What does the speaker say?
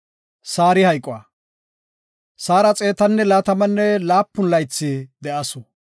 Saara xeetanne laatamanne laapun laythi de7asu.